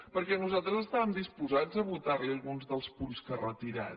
perquè nosaltres estàvem disposats a votar li alguns dels punts que ha retirat